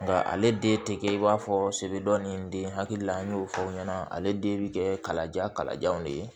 Nka ale den tɛ kɛ i b'a fɔ sebaa ni den hakili la an y'o fɔ o ɲɛna ale den bɛ kɛ kalaja kalajanw de ye